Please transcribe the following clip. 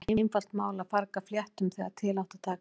Það var ekki einfalt mál að farga fléttum þegar til átti að taka.